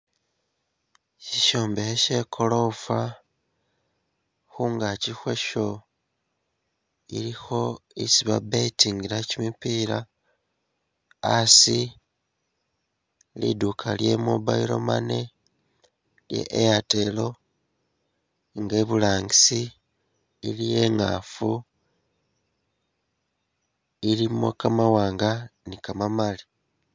Shishombekhe she golofa khungagi khwasho ilikho esi babetingila gimipila hasi li duuka lye mobile money ye airtel nga iburangisi iliyo ingafu ilimo gamawanga ni gamamali.